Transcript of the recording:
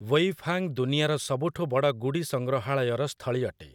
Weifang ଦୁନିଆର ସବୁଠୁ ବଡ଼ ଗୁଡ଼ି ସଂଗ୍ରହାଳୟର ସ୍ଥଳୀ ଅଟେ ।